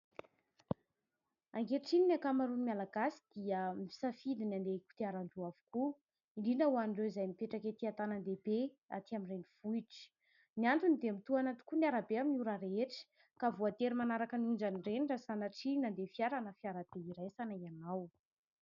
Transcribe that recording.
Ankehitriny ny ankamaroan'ny malagasy dia misafidy ny andeha kodiaran-droa avokoa, indrindra ho an'ireo izay mipetraka ety an-tanàn- dehibe aty amin'ny renivohitra. Ny antony dia mitohana tokoa ny arabe amin'ny ora rehetra ka voatery manaraka ny onjan'ireny raha sanatria nandeha fiara na fiarakodiabe iraisana ianao.